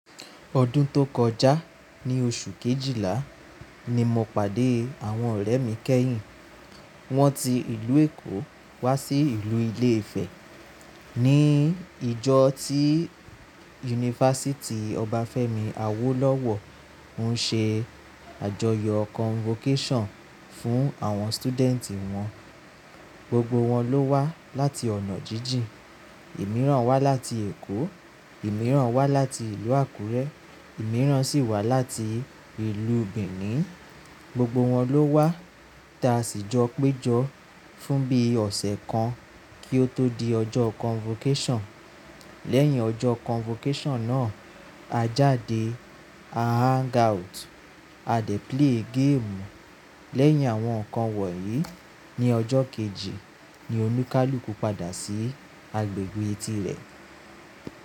Ọdún tó kọjá ní oṣù Kejìlá ni mo pàdé àwọn ọ̀rẹ́ mi kẹ́yìn. Wọ́n ti ìlú Èkó wá sí ìlú Ilé Ifẹ̀ ní ìjọ tí Yunifásítì Obafemi Awolowo ń ṣe àjọyọ̀ Convocation fún àwọn student wọn. Gbogbo wọn ló wá láti ọ̀nà jíjìn. Ìmíràn wá láti Èkó, ìmíràn wá láti ìlú Àkúrẹ́, ìmíràn sì wá láti ìlú Benin. Gbogbo wọn ló wá ta ṣìjọ péjọ fún bí ọ̀sẹ̀ kan kí ó tó di ọjọ́ Convocation. Lẹ́yìn ọjọ́ Convocation náà, a jáde a hang out, a dé play gaamu. Lẹ́yìn àwọn nǹkan wọ̀nyí, ní ọjọ́ kejì ni Oníkálukú padà sí agbègbè etí rẹ̀.